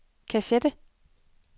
kassette